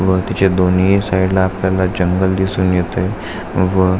व तिच्या दोन्ही साइडला आपल्याला जंगल दिसून येत आहे व--